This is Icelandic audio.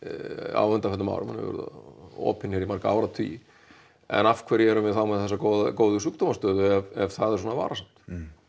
á undanförnum árum hann hefur verið opinn hér í marga áratugi en af hverju erum við þá með þessa góðu góðu sjúkdómastöðu ef það er svona varasamt